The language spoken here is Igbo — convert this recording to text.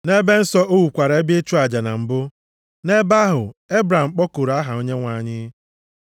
Nʼebe nsọ o wukwara ebe ịchụ aja na mbụ, nʼebe ahụ Ebram kpọkuru aha Onyenwe anyị.